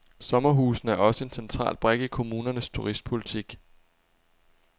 Sommerhusene er også en central brik i kommunernes turistpolitik.